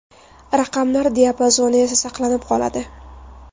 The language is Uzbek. Raqamlar diapazoni esa saqlanib qoladi.